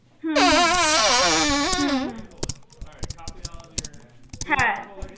হম হ্যা